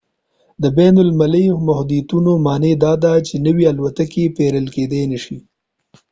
د بین المللي محدودیتونو معنی داده چې نوې الوتکې پیرل کیدای نشي